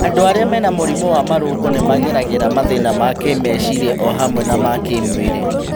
Andũ arĩa mena mũrimũ wa marũngo nĩmageragĩra mathĩna ma kĩmeciria o hamwe na ma kĩmwĩrĩ